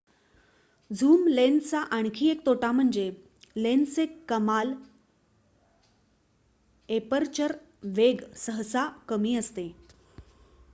zoom लेन्सचा आणखी एक तोटा म्हणजे लेन्सचे कमाल एपर्चर वेग सहसा कमी असते